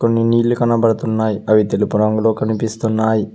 కొన్ని నీళ్లు కనబడుతున్నాయ్ అవి తెలుపు రంగులో కనిపిస్తున్నాయ్.